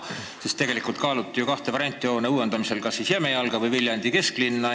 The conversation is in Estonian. Tegelikult kaaluti uue hoone kahte varianti: kas siis Jämejalga või Viljandi kesklinna.